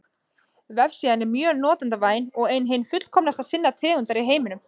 Vefsíðan er mjög notendavæn og er ein hin fullkomnasta sinnar tegundar í heiminum.